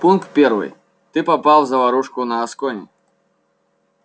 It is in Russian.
пункт первый ты попал в заварушку на аскони